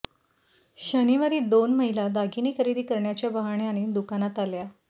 शनिवारी दोन महिला दागिने खरेदी करण्याच्या बहाण्याने दुकानात आल्या